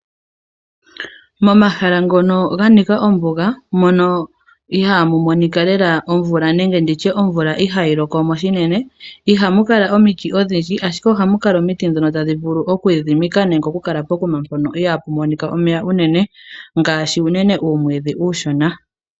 Momahala ngono ga nika ombuga. Mono ihaamu mono omvula nenge omvula ihaayi loko mo unene ihamu kala omiti odhindji, ihe ohamu kala omiti ndhono tadhi vulu oku idhidhimika nenge tadhi vulu okukala pokuma mpono ihaapu monika omeya unene ngaashi uumwiidhi uushona.